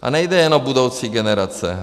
A nejde jen o budoucí generace.